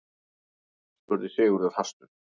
spurði Sigurður hastur.